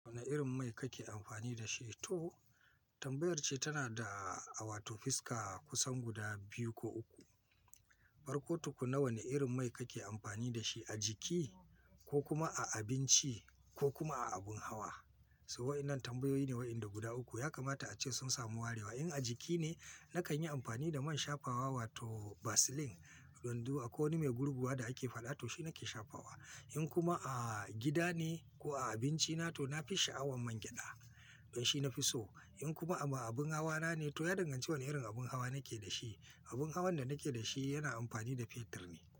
Wane irin mai kake amfani da shi? To tambayar ce tana da a wato fiska kusan guda biyu ko uku. Farko tukuna wane irin mai kake amfani da shi a jiki ko kuma a abinci ko kuma a abin hawa? So waɗannan tambayoyi ne waɗanda guda uku. Ya kamata ace sun samu warewa. In a jiki ne, nakan yi amfani da man shafawa wato Vaseline. Don du akwaiko wani mai gurguwa da ake faɗa to shi nake shafawa. In kuma a gida ne ko a abinci na to na fi sha'awan man gyaɗa. Don shi na fi so. In kuma a abin hawa na ne to ya danganci wane irin abin hawa nake da shi. Abin hawan da nake da shi yana amfani da fetur ne.